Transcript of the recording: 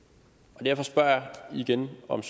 og derfor spørger jeg igen om